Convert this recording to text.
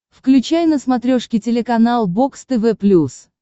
включай на смотрешке телеканал бокс тв плюс